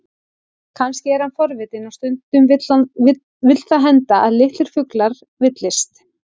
Kannski er hann forvitinn, og stundum vill það henda að litlir fuglar villist.